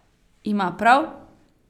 Ima prav?